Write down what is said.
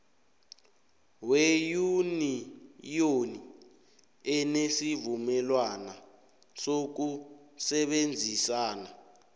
weyuniyoni enesivumelwana sokusebenzisana